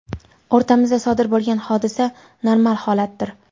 O‘rtamizda sodir bo‘lgan hodisa normal holatdir.